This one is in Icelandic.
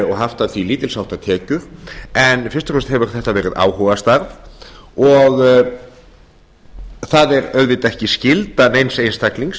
og haft af því lítils háttar tekjur en fyrst og fremst hefur þetta verið áhugastarf það er auðvitað ekki skylda neins einstaklings